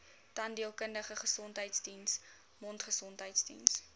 tandheelkundige gesondheidsdiens mondgesondheidsdiens